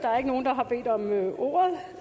der er ikke nogen der har bedt om ordet